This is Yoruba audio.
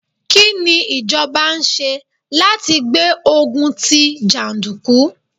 Kí ni ìjọba ń ṣe láti gbé ogun tí jàndùkú?